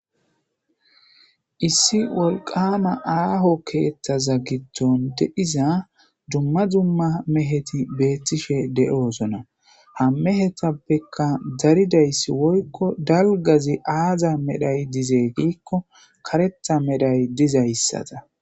Issi wolqaama aaho keeththa giddon de7iza dumma dumma meheti beettishe de7oosona ha mehetappeka daridaysi woykko dalgazi aaza medhoy dize karetha medhay dees.